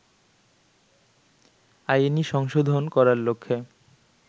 আইনি সংশোধন করার লক্ষ্যে